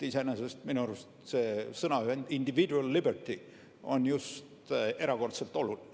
Iseenesest minu arust see sõnaühend individual liberty on just erakordselt oluline.